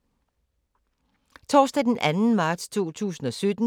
Torsdag d. 2. marts 2017